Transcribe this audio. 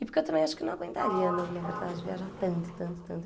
E porque eu também acho que não aguentaria não, na verdade, viajar tanto, tanto, tanto.